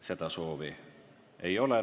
Seda soovi ei ole.